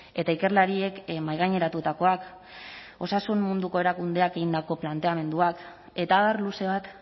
eta ikerlariek mahaigaineratutakoak osasun munduko erakundeak egindako planteamenduak eta abar luze bat